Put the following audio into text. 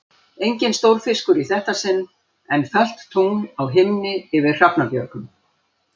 Enginn stórfiskur í þetta sinn, en fölt tungl á himni yfir Hrafnabjörgum.